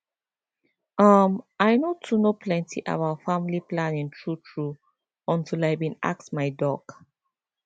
ummm i no too know plenty about family planning true true until i bin ask my doc